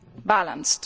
balanced.